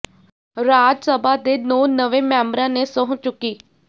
ਰਾਜ ਸਭਾ ਦੇ ਨੌਂ ਨਵੇਂ ਮੈਂਬਰਾਂ ਨੇ ਸਹੁੰ ਚੁੱਕੀ